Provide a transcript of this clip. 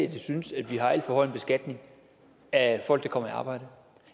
at jeg synes at vi har alt for høj en beskatning af folk der kommer i arbejde